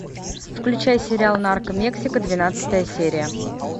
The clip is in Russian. включай сериал нарко мексика двенадцатая серия